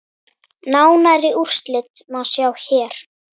Nánari úrslit má sjá hér.